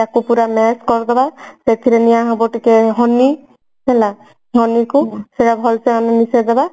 ତାକୁ ପୁରା smash କରିଦେବ ସେଥିରେ ନିଆହେବ ଟିକେ honey ହେଲା honey କୁ ଭଲସେ honey ମିଶେଇଦେବା